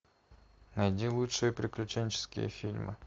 найди лучшие приключенческие фильмы